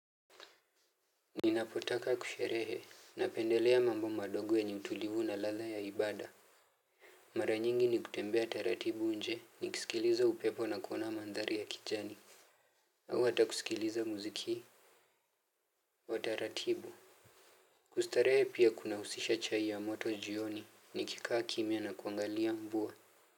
Ninapotaka kusherehe na pendelea mambo madogo yenye utulivu na ladha ya ibada. Mara nyingi ni kutembea taratibu nje ni kisikiliza upepo na kuona mandhari ya kijani. Au hata kusikiliza muziki. Wataratibu. Kustarehe pia kuna husisha chai ya moto jioni ni kikaa kimya na kuangalia mvua.